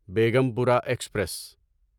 Begampura express